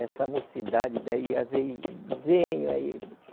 Essa mocidade daí, às vezes venho aí.